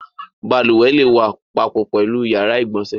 Balùwẹ̀ le wà papọ̀ pẹ̀lú ìyàrá-ìgbọǹsẹ̀.